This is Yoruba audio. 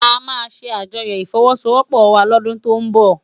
Amá sé ájòyò ifòwòsówòpò wá lòdún tó n bò